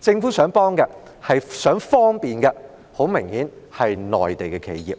它想幫忙和方便的，很明顯是內地企業。